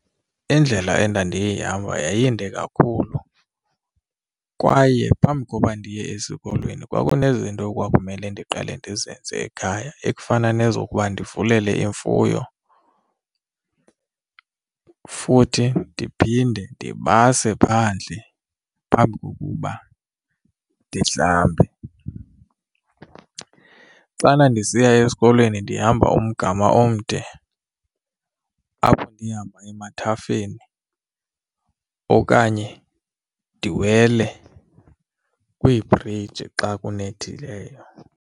Indlela endandiyihamba yayinde kakhulu kwaye phambi koba ndiye esikolweni kwakunezinto ekwakumele ndiqale ndizenze ekhaya ekufana nezokubakho ndivulele imfuyo futhi ndiphinde ndibase phandle phambi kukuba ndihlambe. Xana ndisiya esikolweni ndihamba umgama omde apho ndihamba emathafeni okanye ndiwele kwiibhriji xa kunethileyo.